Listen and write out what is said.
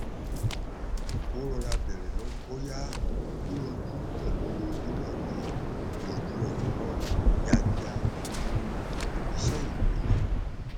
ó rọra bèrè bóyá yíyanjú pẹlú owó náà le yanjú ọrọ náà kíákíá ju iṣẹ ìwé lọ